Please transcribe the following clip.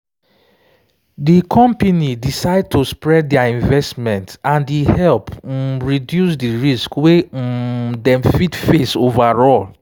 de company decide to spread their investment and e help um reduce the risk wey um dem fit face overall.